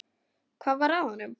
Hvað var að honum?